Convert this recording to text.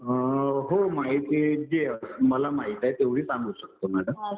हो माहिती जी मला माहिती आहे तेवढी सांगू शकतो मॅडम.